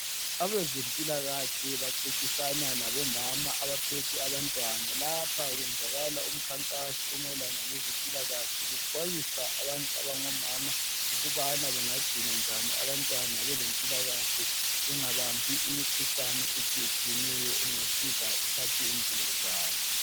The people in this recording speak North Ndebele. Abezempilakahle baxoxisana labomama abaphethe abantwana lapha kwenzakala umkhankaso omayelana lezempilakahle bexwayisa abantu abangomama ukubana bengagcina njani abantwana belempilakahle bengabambi imikhuhlane etshiye tshiyeneyo engasuka ithathe impilo zabo.